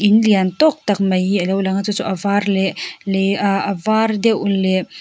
in liantawk tak mai hi alo lang a chu chu avar leh leh ah avar deuh leh--